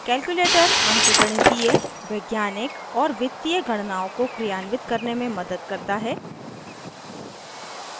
calculator अंकगणितीय arithmetic वैज्ञानिक scientific और वित्तीय financial गणनाओं को क्रियान्वित करने में मदद करता है